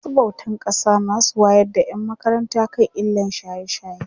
masu bautan ƙasa zasu wayar da ƴan makaranta kan illan shaye shaye